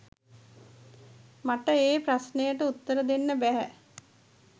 මට ඒ ප්‍රශ්නයට උත්තර දෙන්න බැහැ.